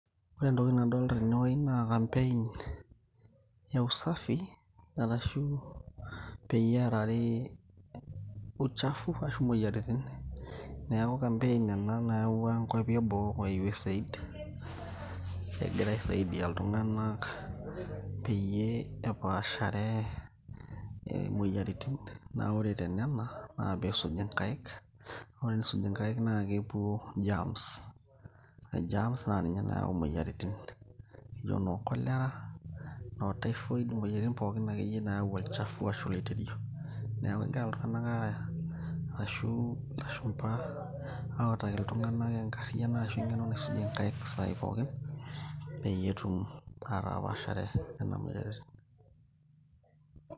Ore entoki nadolita tene wueji naa campaign e usafi arashu peyie eerari uchafu ashu moyiaritin. Neeku campaign ena nayawua nkuapi e boo kwa USAID. Egira aisaidia iltung`anak peyie epaashare moyiaritin. Naa ore tenena naa pee eisuji nkaik. Ore pee isuji nkaik naa kepuo germs ore germs naa ninye nayau moyiariti naijo noo cholera noo typhoid moyiaritin pookin akeyie naayau olchafu ashu oliteirio. Niaku kegira iltun`ganak ashu ilashumpa uataki iltung`anak enkariyiano ashu eng`eno naisujie nkaik isaai pookin peyie etum ataapaashare nena moyiaritin.